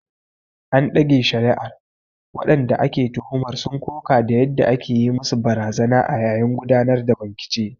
An ɗage shari’ar, waɗanda ake tuhumar sun koka da yadda ake yi musu barazana a yayin gudanar da bincike.